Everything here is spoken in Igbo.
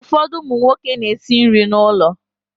Ụfọdụ ụmụ nwoke na-esi nri n'ụlọ.